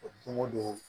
Don o don